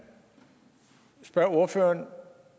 spørge ordføreren